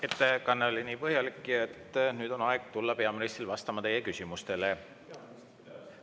Ettekanne oli põhjalik, nüüd on aeg tulla peaministril vastama teie küsimustele.